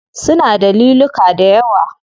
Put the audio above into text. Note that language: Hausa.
Suna da liluka dayawa.